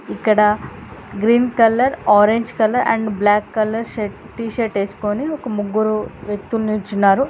ఇక్కడ green colour orange colour and black colour shirt T shirt వేసుకుని ఒక ముగ్గురు వ్యక్తులు నిల్చున్నారు.